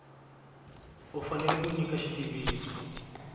u fanele ku nyika xitiviso